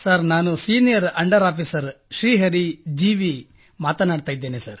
ನಾನು senior under officer Shri Hari G V ಮಾತನಾಡುತ್ತಿದ್ದೇನೆ